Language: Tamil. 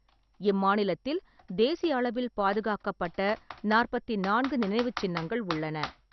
இம்மாநிலத்தில் தேசிய அளவில் பாதுகாக்கப்பட்ட நாற்பத்தி நான்கு நினைவுச் சின்னங்கள் உள்ளன.